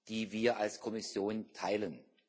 die wir als Kommission teilen.